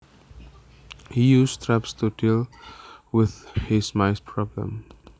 He uses traps to deal with his mice problem